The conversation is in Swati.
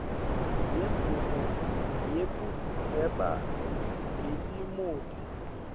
yemvumo yekuhweba ngetimoti